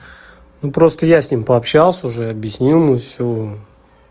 ну просто я с ним пообщался уже объяснил ему всё